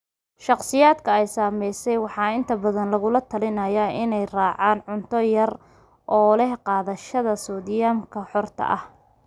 Shakhsiyaadka ay saameysay waxaa inta badan lagula taliyaa inay raacaan cunto potassium yar oo leh qaadashada soodhiyamka xorta ah.